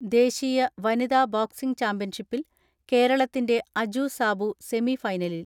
ദേശീയ വനിതാ ബോക്സിംഗ് ചാമ്പ്യൻഷിപ്പിൽ കേരള ത്തിന്റെ അജു സാബു സെമി ഫൈനലിൽ.